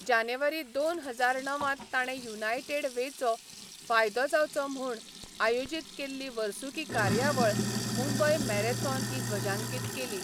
जानेवारी दोन हजार णवांत ताणें युनायटेड वेचो फायदो जावचो म्हूण आयोजीत केल्ली वर्सुकी कार्यावळ मुंबय मॅरेथॉन ही ध्वजांकीत केली.